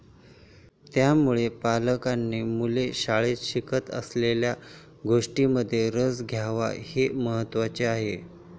त्यामुळे, पालकांनी मुले शाळेत शिकत असलेल्या गोष्टींमध्ये रस घ्यावा हे महत्त्वाचे आहे.